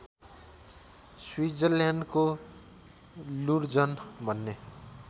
स्विजरल्याण्डको Lucerne भन्ने